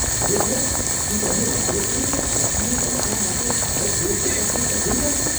ખરેખર? શું તમને લાગે છે કે ભારતીયો પૈસા માટે ભારત દેશ સાથે દગો કરશે?